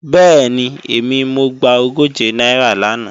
Bẹ́ẹ̀ni, èmi mo gba ogóje náírà làná